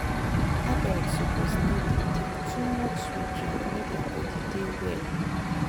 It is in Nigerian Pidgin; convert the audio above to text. adults suppose no dey take too much sweet drink make their body dey well.